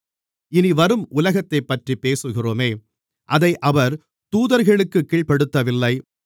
இனிவரும் உலகத்தைப்பற்றிப் பேசுகிறோமே அதை அவர் தூதர்களுக்குக் கீழ்ப்படுத்தவில்லை